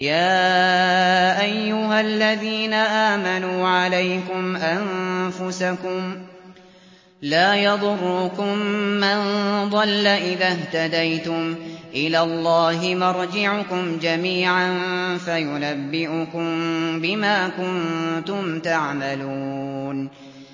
يَا أَيُّهَا الَّذِينَ آمَنُوا عَلَيْكُمْ أَنفُسَكُمْ ۖ لَا يَضُرُّكُم مَّن ضَلَّ إِذَا اهْتَدَيْتُمْ ۚ إِلَى اللَّهِ مَرْجِعُكُمْ جَمِيعًا فَيُنَبِّئُكُم بِمَا كُنتُمْ تَعْمَلُونَ